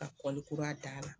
Ka kura d'a la.